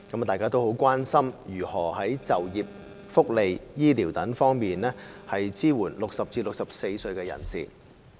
大家都很關心如何在就業、福利、醫療等方面支援60歲至64歲人士。